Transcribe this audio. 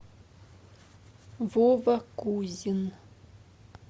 вова кузин